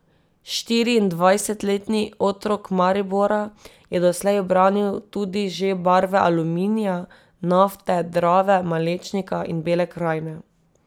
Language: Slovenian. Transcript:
Štiriindvajsetletni otrok Maribora je doslej branil tudi že barve Aluminija, Nafte, Drave, Malečnika in Bele krajine.